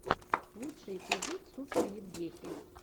лучший эпизод супер евгехи